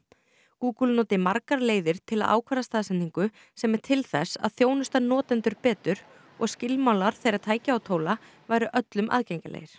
Google noti margar leiðir til að ákvarða staðsetningu sem er til þess að þjónusta notendur betur og skilmálar þeirra tækja og tóla væru öllum aðgengilegir